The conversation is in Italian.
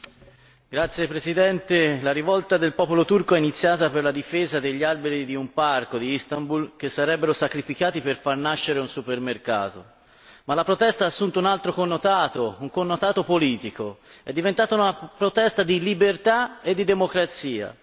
Signor Presidente, onorevoli colleghi, la rivolta del popolo turco è iniziata per la difesa degli alberi di un parco di Istanbul che sarebbero sacrificati per far nascere un supermercato, ma la protesta ha assunto un altro connotato, un connotato politico è diventata una protesta di libertà e di democrazia.